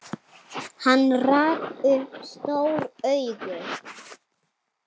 Hann rak upp stór augu.